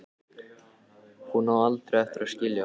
Hún á aldrei eftir að skilja það.